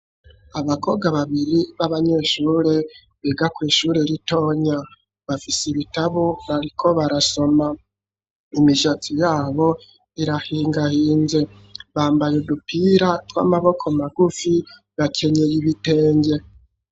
Abakobwa babiri, b'abanyeshure, biga kw'ishure ritonya; bafise ibitabo, bariko barasoma; imishatsi yabo, irahingahinze; bambaye udupira, tw'amaboko magufi, bakenyeye ibitenge.